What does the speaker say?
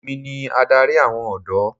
Èmi ni adarí àwọn ọ̀dọ́.